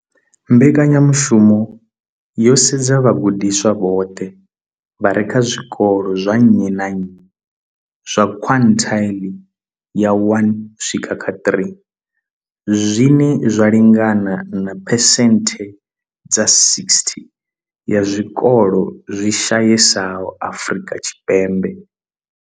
Mbekanyamushumo yo sedza vhagudiswa vhoṱhe vha re kha zwikolo zwa nnyi na nnyi zwa quintile ya 1 uswika kha 3, zwine zwa lingana na phesenthe dza 60 ya zwikolo zwi shayesaho Afrika Tshipembe.